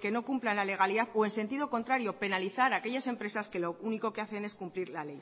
que no cumplan la legalidad o en sentido contrario penalizar aquellas empresas que lo único que hacen es cumplir la ley